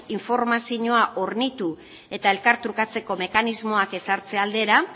informazioa hornitu eta elkar trukatzeko mekanismoak ezartze aldera